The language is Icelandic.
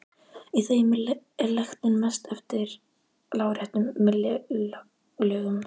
Í þeim er lektin mest eftir láréttum millilögum.